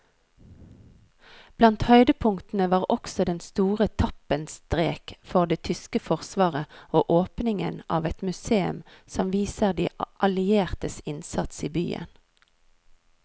Blant høydepunktene var også den store tappenstrek for det tyske forsvaret og åpningen av et museum som viser de alliertes innsats i byen.